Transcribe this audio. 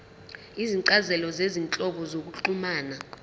izincazelo zezinhlobo zokuxhumana